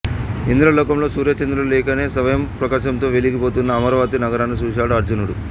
ఇంద్రలోకంలో సూర్య చంద్రులు లేకనే స్వయంప్రకాశంతో వెలిగి పోతున్న అమరావతి నగరాన్ని చూసాడు అర్జునుడు